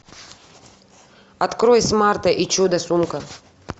открой смарта и чудо сумка